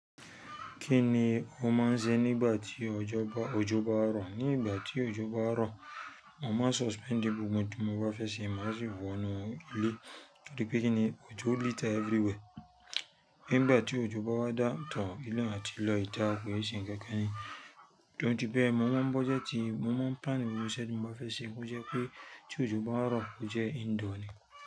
Kí ni ó máa ń ṣe nígbà tí òjò bá rọ̀? Nígbà tí òjò bá rọ̀, mo máa suspend gbogbo n tí mo bá fẹ́ ṣe, má sì wọ inú ilé. Torí pé kí ni òjò litter everywhere. Nígbà tí òjò bá wá dá tán inú àti lọ ìta kò lè ṣe nǹkan kan. Torí bẹ́ẹ̀ mo máa ń bọ́ jẹ́ ti mo máa ń pan gbogbo iṣẹ́ tí mo bá fẹ́ ṣe bó jẹ́ pé tí òjò bá rọ̀ ó jẹ́ indoor ni.